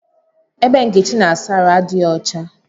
Ebe Nkechi na-asa ahụ adighi ọcha